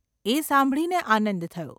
એ સાંભળીને આનંદ થયો.